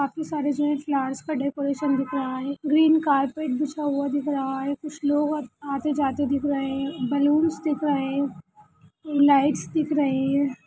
काफी सारे जो है फ्लावर्स का डेकोरेशन दिख रहा है ग्रीन कारपेट बिछा हुआ दिख रहा है कुछ लोग और आते-जाते दिख रहे है बलून्स दिख रहा है लाइट्स दिख रहे है।